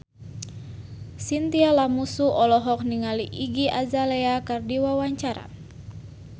Chintya Lamusu olohok ningali Iggy Azalea keur diwawancara